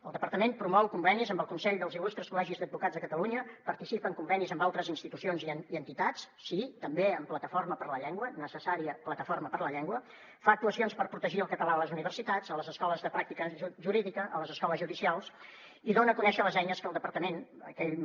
el departament promou convenis amb el consell dels il·lustres col·legis d’advocats de catalunya participa en convenis amb altres institucions i entitats sí també amb plataforma per la llengua necessària plataforma per la llengua fa actuacions per protegir el català a les universitats a les escoles de pràctica jurídica a les escoles judicials i dona a conèixer les eines que el departament